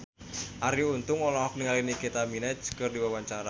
Arie Untung olohok ningali Nicky Minaj keur diwawancara